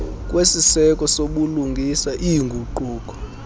kwesiseko sobulungisa iinguquko